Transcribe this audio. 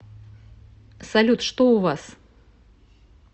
салют что у вас